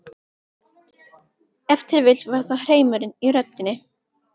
Ef til vill var það hreimurinn í röddinni.